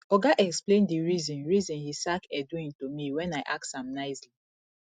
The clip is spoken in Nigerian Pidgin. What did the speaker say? oga explain the reason reason he sack edwin to me wen i ask am nicely